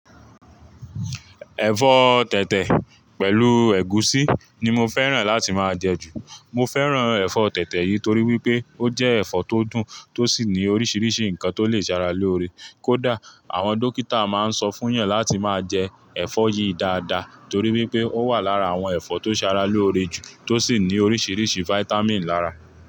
Ẹ̀fọ́ tẹ̀tẹ̀ pẹ̀lú ẹ̀gúsí ní mo fẹ́ràn láti máa jẹ jù. Mọ fẹ́ràn ẹ̀fọ́ tẹ̀tẹ̀ yìí torí wípé ó jẹ́ ẹ̀fọ́ tó dùn tó sì ní oríṣiríṣi ǹkan tó lè ṣe ara lóore. Kódà àwọn dókítà máa ń sọ fún yàn láti máa jẹ ẹ̀fọ́ yìí dáadáa torí wípé ó wà lára àwọn ẹ̀fọ́ tó ṣe ara lóore jù tó sì ní oríṣiríṣi vitamin lára.